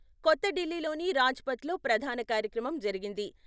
కొత్త ఢిల్లీలోని రాజ్ పథ్ లో ప్రధాన కార్యక్రమం జరిగింది.